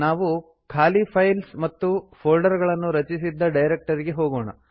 ನಾವು ಖಾಲಿ ಫೈಲ್ಸ್ ಮತ್ತು ಫೋಲ್ಡರ್ ಗಳನ್ನು ರಚಿಸಿದ್ದ ಡೈರಕ್ಟರಿಗೆ ಹೋಗೋಣ